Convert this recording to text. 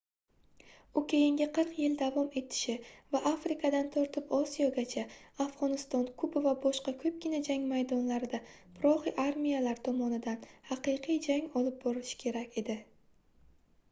u keyingi 40 yil davom etishi va afrikadan tortib osiyogacha afgʻoniston kuba va boshqa koʻpgina jang maydonlarida proxi armiyalar tomonidan haqiqiy jang olib borilishi kerak edi